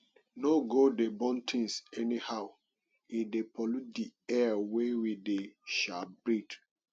no go dey burn things anyhow e dey pollute di air wey we dey um breet